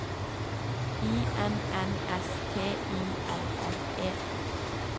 I N N S T I L L E